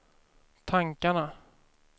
tankarna